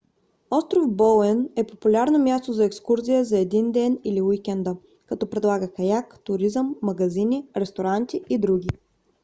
остров боуен е популярно място за екскурзия за един ден или уикенда като предлага каяк туризъм магазини ресторанти и други